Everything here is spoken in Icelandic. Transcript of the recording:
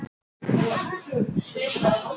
Látið deigið á borð og þrýstið loftinu úr því.